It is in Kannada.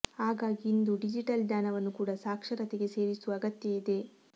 ಹಾಗಾಗಿ ಇಂದು ಡಿಜಿಟಲ್ ಜ್ಞಾನವನ್ನು ಕೂಡ ಸಾಕ್ಷರತೆಗೆ ಸೇರಿಸುವ ಅಗತ್ಯ ಇದೆ